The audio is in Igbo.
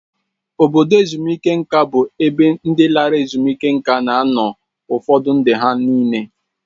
Obodo ezumike nka bụ ebe ndị lara ezumike nka na-anọ ụfọ ndụ ha nịle